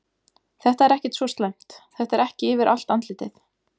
Þetta er ekkert svo slæmt, þetta er ekki yfir allt andlitið.